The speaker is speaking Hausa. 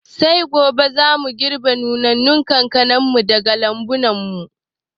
Sai gobe za mu girɓi nunannun kankana daga lambun mu